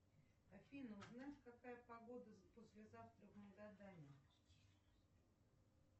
афина узнать какая погода послезавтра в магадане